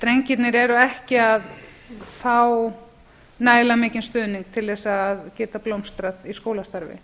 drengirnir eru ekki að fá nægilega mikinn stuðning til þess að geta blómstrað í skólastarfi